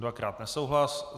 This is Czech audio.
Dvakrát nesouhlas.